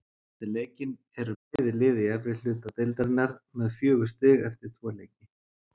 Eftir leikinn eru bæði lið í efri hluta deildarinnar með fjögur stig eftir tvo leiki.